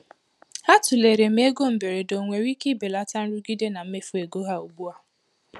Ha tụlere ma ego mberede onwere ike belata nrụgide na mmefu ego ha ugbu a.